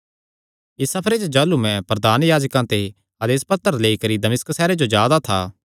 इस सफरे च जाह़लू मैं प्रधान याजकां ते आदेस पत्र लेई करी दमिश्क सैहरे जो जा दा था